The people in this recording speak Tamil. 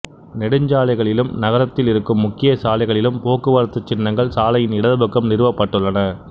நெடுஞ்சாலைகளிலும் நகரத்தில் இருக்கும் முக்கியச் சாலைகளிலும் போக்குவரத்துச் சின்னங்கள் சாலையின் இடது பக்கம் நிறுவப்பட்டுள்ளன